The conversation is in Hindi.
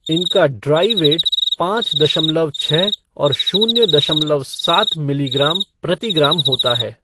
इनका ड्राइ वेट पाँच दशमलव छः औैर शून्य दशमलव सात मिलीग्राम प्रति ग्राम होता है।